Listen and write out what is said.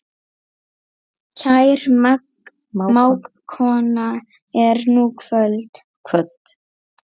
Kær mágkona er nú kvödd.